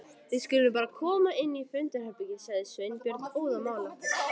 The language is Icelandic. Við skulum bara koma inn í fundarherbergi sagði Sveinbjörn óðamála.